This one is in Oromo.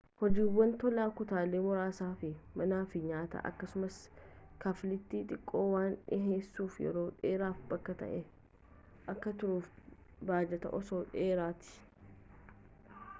hojiiwwan tolaa kutaalee muraasa fi manaa fi nyaata akkasumas kafaltii xiqqoo waan dhiheessuuf yeroo dheeraaf bakka ta'e akka turuuf baajata osoo dheeratee